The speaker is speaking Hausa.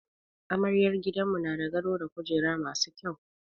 Amaryar gidanmu na da gado da kujeru masu kyau.